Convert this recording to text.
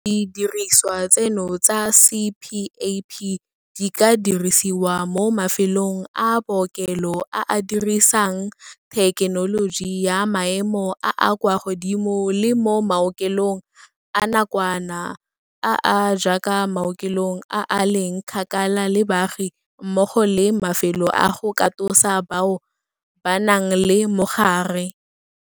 Didirisiwa tseno tsa CPAP di ka dirisiwa mo mafelong a bookelo a a dirisang thekenoloji ya maemo a a kwa godimo le mo maokelong a nakwana, a a jaaka maokelong a a leng kgakala le baagi mmogo le mafelo a go katosa bao ba nang le mogare.